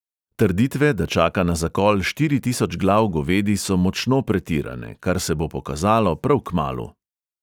Trditve, da čaka na zakol štiri tisoč glav govedi, so močno pretirane, kar se bo pokazalo prav kmalu.